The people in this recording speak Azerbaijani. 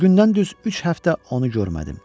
O gündən düz üç həftə onu görmədim.